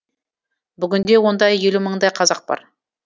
бүгінде онда елу мыңдай қазақ бар